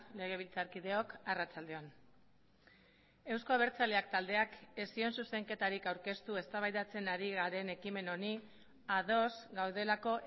legebiltzarkideok arratsalde on euzko abertzaleak taldeak ez zion zuzenketarik aurkeztu eztabaidatzen ari garen ekimen honi ados gaudelako